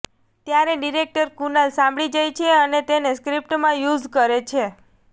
ત્યારે ડિરેક્ટર કુનાલ સાંભળી જાય છે અને તેને સ્ક્રિપ્ટમાં યુઝ કરે છે